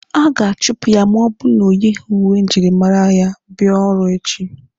A ga-achụpụ ya ma ọ bụrụ na o yighi uwe njirimara bịa ọrụ echi.